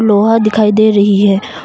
लोहा दिखाई दे रही है।